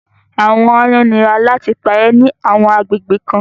àwọn àayan nira làti pàrẹ ni àwọn agbegbe kan